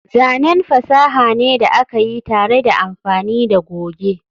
zanen fasaha ne da aka yi tare da amfani da goge